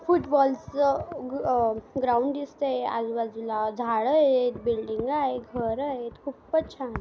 Football च ground दिसतंय आजूबाजूला झाडं आहेत बिल्डींगा आहेत घर आहेत खुपच छान.